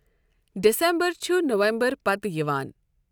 December چھؙ نَوَمبَرہٕ پَتہٕ یِوان.